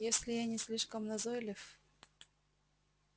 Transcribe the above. если я не слишком назойлив